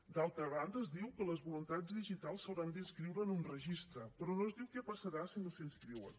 d’altra banda es diu que les voluntats digitals s’hauran d’inscriure en un registre però no es diu què passarà si no s’hi inscriuen